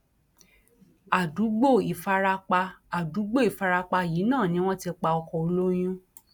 àdúgbò ìfarapa àdúgbò ìfarapa yìí náà ni wọn ti pa ọkọ olóyún